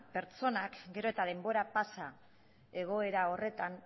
pertsonak gero eta denbora pasa egoera horretan